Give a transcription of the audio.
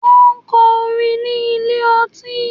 Wọ́n ń kọ orin ní ilé ọtí.